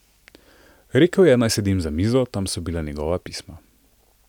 Rekel je, naj sedem za mizo, tam so bila njegova pisma.